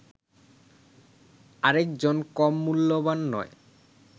আরেকজন কম মূল্যবান নয়